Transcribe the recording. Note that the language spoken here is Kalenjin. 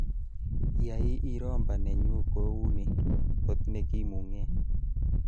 Yai Iroomba nenyu kouni kot nekimungee